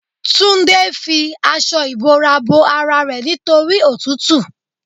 Túndé fi aṣọ ìbora bo ara rẹ nítorí òtútù.